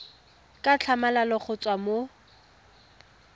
ka tlhamalalo go tswa mo